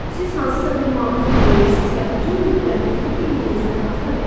Siz hansısa bir mahnını dinləyirsiz və uzun müddət onu beyninizdən ata bilmirsiz.